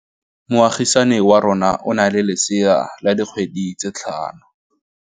Moagisane wa rona o na le lesea la dikgwedi tse tlhano.